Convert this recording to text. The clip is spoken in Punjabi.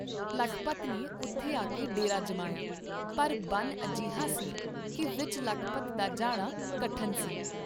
ਲਖਪਤ ਨੇ ਉਥੇ ਆਕੇ ਡੇਰਾ ਜਮਾਇਆ, ਪਰ ਬਨ ਅਜਿਹਾ ਸੀ ਕੀ ਵਿਚ ਲਖਪਤ ਦਾ ਜਾਣਾ ਕਠਨ ਸੀ।